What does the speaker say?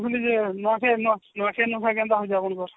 ନୂଆଖାଇ କେନ୍ତା ହଉଛି ଆପଣଙ୍କର